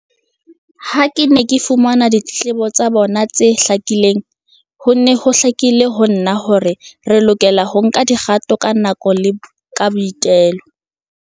Ha ke ne ke fumana ditletlebo tsa bona tse hlakileng, ho ne ho hlakile ho nna hore re lokela ho nka dikgato ka nako le ka boitelo.